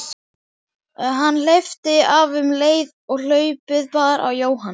Hann hleypti af um leið og hlaupið bar í Jóhann.